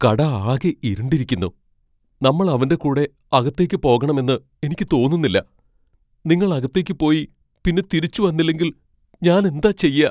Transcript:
കട ആകെ ഇരുണ്ടിരിക്കുന്നു. നമ്മൾ അവന്റെകൂടെ അകത്തേക്ക് പോകണമെന്ന് എനിക്ക് തോന്നുന്നില്ല. നിങ്ങൾ അകത്തേക്ക് പോയി പിന്നെ തിരിച്ച് വന്നില്ലെങ്കിൽ ഞാൻ എന്താ ചെയ്യാ?